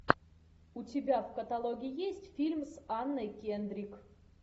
у тебя в каталоге есть фильм с анной кендрик